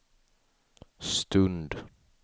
stund